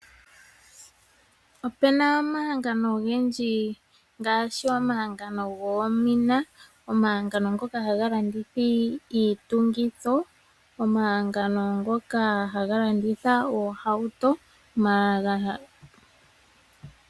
Ope na omahangano ogendji ngaashi omahangano goomina, omahangano ngoka haga landitha iitungitho, omahangano ngoka haga landitha oohauto.